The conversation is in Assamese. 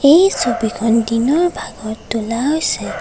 এই ছবিখন দিনৰ ভাগত তোলা হৈছে।